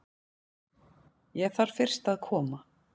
Ég þarf fyrst að koma